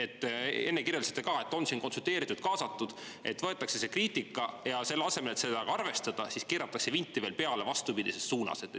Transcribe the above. Te enne kirjeldasite ka, et on siin konsulteeritud, kaasatud, et võetakse see kriitika, aga selle asemel, et seda ka arvestada, keeratakse vinti veel peale vastupidises suunas.